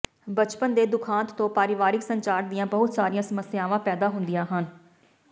ਬਚਪਨ ਦੇ ਦੁਖਾਂਤ ਤੋਂ ਪਰਿਵਾਰਕ ਸੰਚਾਰ ਦੀਆਂ ਬਹੁਤ ਸਾਰੀਆਂ ਸਮੱਸਿਆਵਾਂ ਪੈਦਾ ਹੁੰਦੀਆਂ ਹਨ